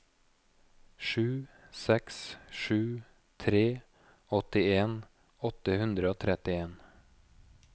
sju seks sju tre åttien åtte hundre og trettien